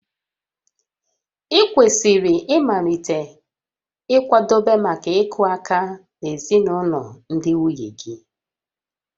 Ị kwesịrị ịmalite ịkwadebe maka ịkụ aka na ezinụlọ ndị nwunye gị